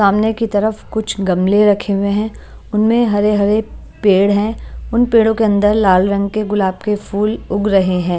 सामने की तरफ कुछ गमले रखे हुए हैं उनमें हरे हरे पेड़ हैं उन पेड़ों के अंदर लाल रंग के गुलाब के फूल उग रहे हैं।